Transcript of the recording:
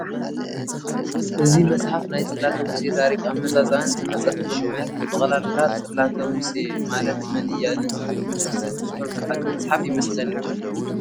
እዚ መፅሓፍ ናይ ፅላተ ሙሴ ታሪክ ኣመፃፅኣኣን ዝመፀትሉ ምኽንያትን ብጠቕላላ ፅላተ-ሙሴ ማለት መን እያ ንዝብል መልሲ ዝህብ ፅሑፍ ዝሓዘ መፅሓፍ ይመስለኒ ።